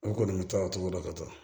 N kɔni bɛ to a cogo dɔn ka ca